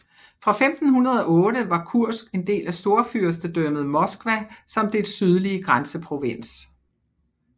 Fra 1508 var Kursk en del af Storfyrstedømmet Moskva som dets sydlige grænseprovins